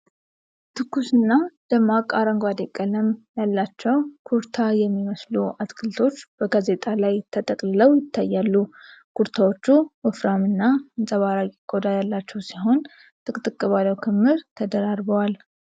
ትኩስ እና ደማቅ አረንጓዴ ቀለም ያላቸው ኩርታ የሚመስሉ አትክልቶች በጋዜጣ ላይ ተጠቅልለው ይታያሉ። ኩርታዎቹ ወፍራም እና አንጸባራቂ ቆዳ ያላቸው ሲሆን፣ ጥቅጥቅ ባለው ክምር ተደራርበዋል።